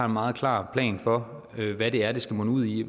meget klar plan for hvad det er det skal munde ud i